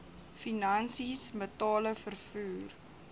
finansies metale vervoer